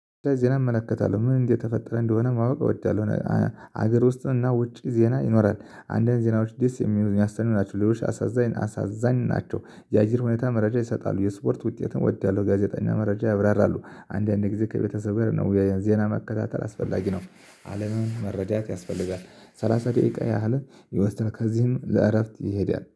ዜና እመለከታለሁ ምን እንደተፈጠረ እንደሆነ ማወቅ እወዳለሁ። ሀገር ውስጥ እና ውጪ ዜና ይኖራል። አንዳንድ ዜናዎች ደስ የሚያሰኙ ናቸው፤ ሌሎች አሳዛኝ ናቸው። የአየር ሁኔታ መረጃ ይሰጣሉ። የስፖርት ውጤት እወዳለሁ። ጋዜጠኛ መረጃ ያብራራሉ። አንዳንዴ ጊዜ ከቤተሰብ ጋር ነው የዜና መከታተል አስፈላጊ ነው። አለምን መረዳት ያስፈልጋል፤ ሰላሳ ደቂቃ ያህል ይወስዳል። ከዚህም ለእረፍት ይሄዳል